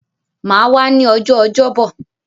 Mà á wá ní ọjọ́ Ọjọ́bọ̀.